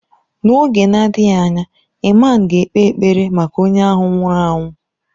N’oge na-adịghị anya, ịman ga-ekpe ekpere maka onye ahụ nwụrụ anwụ.